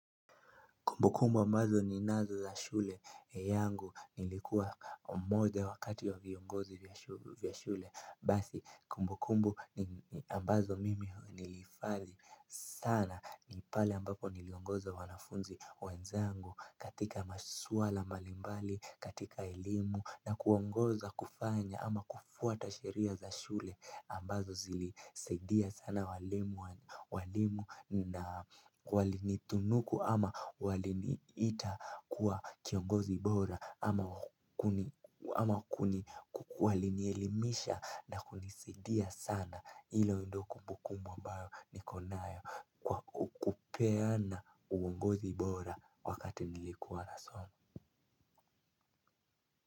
Kumbu kumbu ambazo ninazo za shule yangu nilikuwa mmoja wa kati ya viongozi vya shule. Basi kumbu kumbu ambazo mimi nilihifadhi sana ni pale ambapo niliongoza wanafunzi wenzangu katika masuala mbali mbali katika elimu na kuongoza kufanya ama kufuata sheria za shule ambazo zilisadia sana walimu. Walimu na walinitunuku ama waliniita kuwa kiongozi bora. Ama kuni walielimisha na kunisidia sana. Hilo ndio kumbukumbo ambao nikonayo kupeana uongozi bora wakati nilikuwa nasoma.